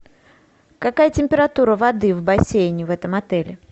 какая температура воды в бассейне в этом отеле